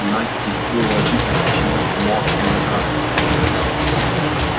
насте было обидно подчиняться младшему митраше